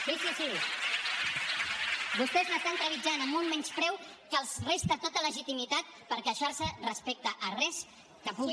sí sí sí vostès l’estan trepitjant amb un menyspreu que els resta tota legitimitat per queixar se respecte a res que pugui